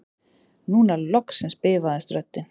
Núna loksins bifaðist röddin